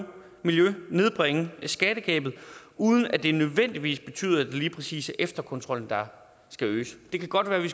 nedbringe skattegabet uden at det nødvendigvis betyder at det lige præcis er efterkontrollen der skal øges det kan godt være at vi